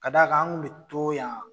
Ka da kan an kun be to yan